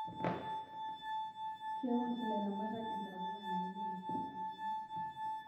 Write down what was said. Keun ilaramatak intapuka naidimu olameyu